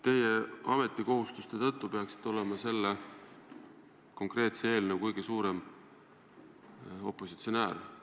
Teie peaksite oma ametikohustuste tõttu olema selle konkreetse eelnõu kõige suurem opositsionäär.